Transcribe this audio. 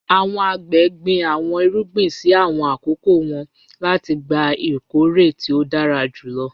Àwọn àgbẹ̀ gbin àwọn ìrúgbìn sí àwọn akókò wọn láti gbà ìkọ̀rẹ̀ tí o dára júlọ